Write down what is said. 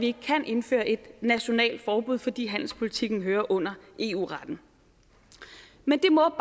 ikke kan indføre et nationalt forbud fordi handelspolitikken hører under eu retten men det må